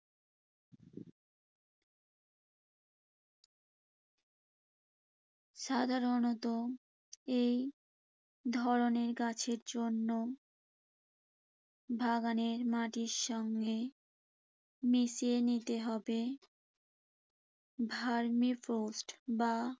সাধারণত এই ধরনের গাছের জন্য বাগানের মাটির সঙ্গে মিশিয়ে নিতে হবে ভার্মিপোস্ট।